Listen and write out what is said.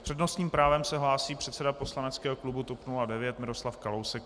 S přednostním právem se hlásí předseda poslaneckého klubu TOP 09 Miroslav Kalousek.